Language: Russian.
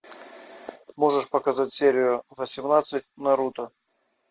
можешь показать серию восемнадцать наруто